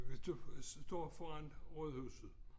Hvis du står foran Rådhuset